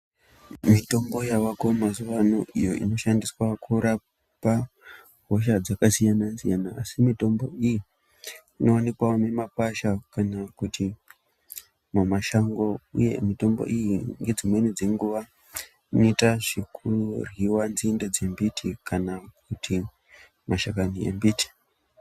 Mitombo yavako mazuwa ano iyo inoshandiswa kurapa hosha dzakasiyanasiyana asi mitombo iyi inowanikwa mumakwasha kana kuti mumashango uye mitombo iyi nedzimweni dzenguwa inoitwe zvekuryiwa nzinde dzembiti kana kuti mashakani embiti.